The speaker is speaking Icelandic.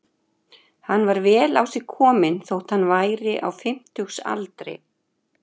Hann var vel á sig kominn þótt hann væri á fimmtugsaldri.